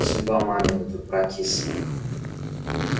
судьба мамина тут прокисла